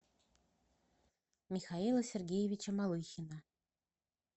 михаила сергеевича малыхина